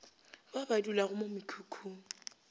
ba ba dulago mo mekhukhung